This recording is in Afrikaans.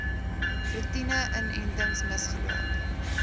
roetine inentings misgeloop